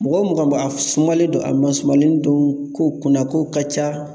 Mɔgɔ o mɔgɔ a ma sumalen don a ma sumanlen don ko kunna kow ka ca